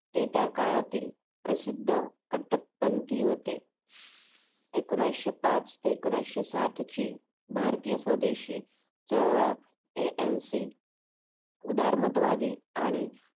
ते त्या काळातील प्रसिद्ध कटपणती होते एकोणयशीपाच ते एकोण्याशिसातची भारतीय स्वदेशी चळवळ ANC उद्धारमतवादी आणि